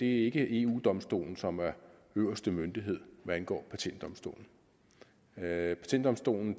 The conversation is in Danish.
ikke eu domstolen som er øverste myndighed hvad angår patentdomstolen patentdomstolen